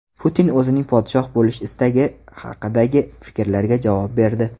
Putin o‘zining podshoh bo‘lish istagi haqidagi fikrlarga javob berdi.